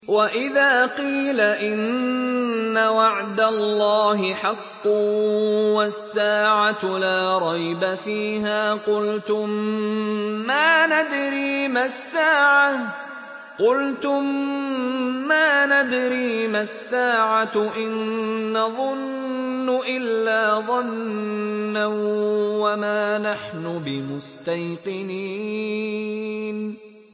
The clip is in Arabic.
وَإِذَا قِيلَ إِنَّ وَعْدَ اللَّهِ حَقٌّ وَالسَّاعَةُ لَا رَيْبَ فِيهَا قُلْتُم مَّا نَدْرِي مَا السَّاعَةُ إِن نَّظُنُّ إِلَّا ظَنًّا وَمَا نَحْنُ بِمُسْتَيْقِنِينَ